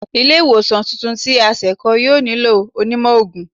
Ile-iwosan tuntun ti a se kọ, yoo nilo onímó oogun